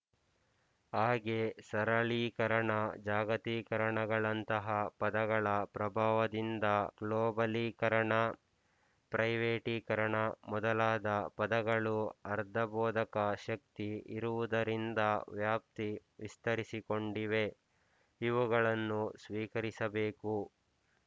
ಹಾಗೆ ಸರಳೀಕರಣ ಜಾಗತೀಕರಣಗಳಂತಹ ಪದಗಳ ಪ್ರಭಾವದಿಂದ ಗ್ಲೋಬಲೀಕರಣ ಪ್ರೈವೇಟೀಕರಣ ಮೊದಲಾದ ಪದಗಳು ಅರ್ಧಭೋದಕ ಶಕ್ತಿ ಇರುವುದರಿಂದ ವ್ಯಾಪ್ತಿ ವಿಸ್ತರಿಸಿಕೊಂಡಿವೆ ಇವುಗಳನ್ನು ಸ್ವೀಕರಿಸಬೇಕು